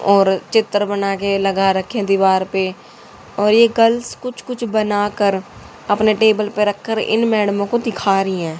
और चित्र बनाकर लगा रखे दीवार पे और यह कल कुछ कुछ बनाकर अपने टेबल पर रखकर इन मैडम को दिखा रही है।